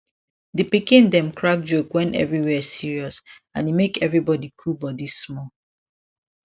di pikin dem crack joke wen everywhere serious and e make everybody cool body small